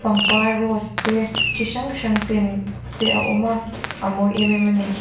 pangpar rose te chi hrang hrang ten te a awm a a mawi em em ani.